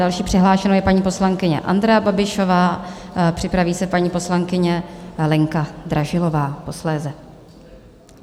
Další přihlášenou je paní poslankyně Andrea Babišová, připraví se paní poslankyně Lenka Dražilová posléze.